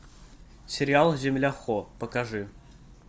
сериал земля хо покажи